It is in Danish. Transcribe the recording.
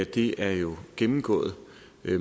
det er jo gennemgået